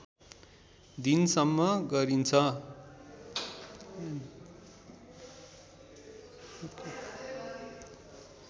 दिनसम्म गरिन्छ